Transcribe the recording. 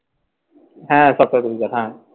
হ্যাঁ